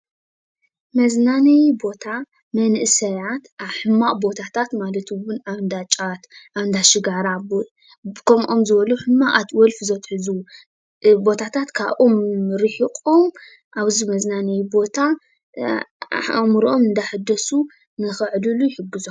መዝናነይ ቦታ መናእሰያት ኣብ ሕማቅ ቦታታት ማለት እውን ኣብ እንዳ ጫት ኣብ እንዳ ሽጋራ ከምኦም ዝበሉ ሕማቃት ወልፊ ዘትሕዙ ቦታታት ካብኦም ሪሒቁም ኣብዚ መዝናነይ ቦታ ኣእምሮኦም እናሐደሱ ንኽዕልሉ ይሕግዞም ።